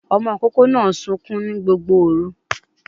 Ọmọ ìkókó náà sunkún ní Gbogbo òru